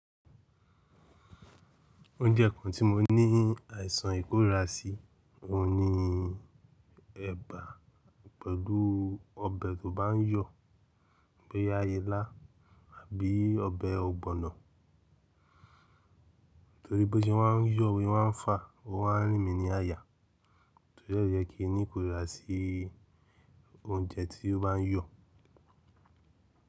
Oúnjẹ kan tí mo ní àìsàn ìkórira sí, òun ni ẹ̀bà pẹ̀lú ọbẹ̀ tó bá ń yọ̀, bóyá ìlá àbí ọbẹ̀ ọ̀gbọ̀nọ̀. Torí bí ó ṣe má ń yọ̀ bó ṣe má ń fà, ó má ń rìn mí ní àyà. Torí ẹ́ ló jẹ́ kín ní ìkórira sí oúnjẹ tí ó bá ń yọ̀.